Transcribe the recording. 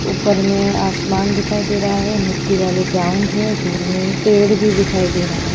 ऊपर में आसमान दिखाई दे रहा हैं मिट्टी वाले ग्राउंड हैं दूर में पेड़ भी दिखाई दे रहा हैं।